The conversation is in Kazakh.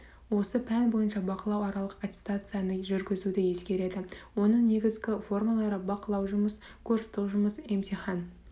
осы пән бойынша бақылау аралық аттестацияны жүргізуді ескереді оның негізгі формалары бақылау жұмыс курстік жұмыс емтихан